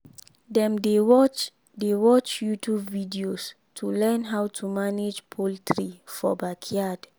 dem dey watch dey watch youtube videos to learn how to manage poultry for backyard.